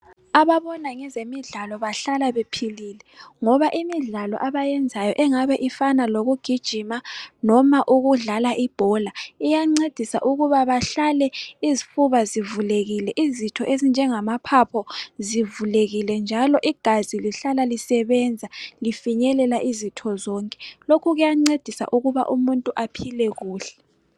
Ababona ngezemidlalo bahlala bephilile ngoba imidlalo abayenzayo engabe ifana lokugijima loba ukudlala ibhola, iyancedisa ukuba behlale izifuba zivulekile izitho ezinjengamaphapho zivulekile njalo igazi lihlala lisebenza lifinyelela izitho zonke. Lokhu kuyancedisa ukuba umuntu aphile kuhle.